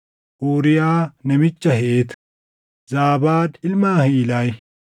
Uuriyaa namicha Heet, Zaabaad ilma Ahilayi,